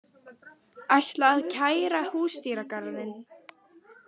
Ætla að kæra Húsdýragarðinn